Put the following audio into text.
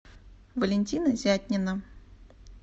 валентина зятнина